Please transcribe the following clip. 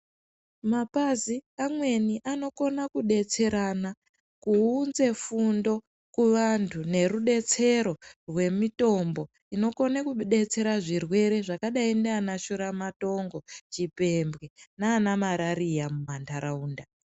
Mapazi amweni anokona kudetserana kuunze fundo kuvantu nerudetsero rwemitombo inokone kudetsera kuzvirwere zvakadai ndiana shura matongo nechipembwe nana marariya mumantaraunda.